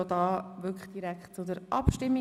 Somit stimmen wir direkt darüber ab.